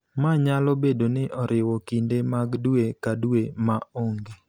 ma nyalo bedo ni oriwo kinde mag dwe ka dwe ma onge,